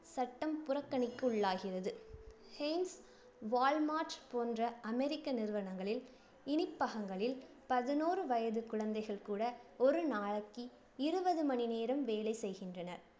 சட்டம் புறக்கணிக்குள்ளாகிறது hanes, walmart போன்ற அமெரிக்க நிறுவனங்களின் இனிப்பகங்களில் பதினோறு வயது குழந்தைகள் கூட ஒரு நாளைக்கி இருவது மணி நேரம் வேலை செய்கின்றனர்.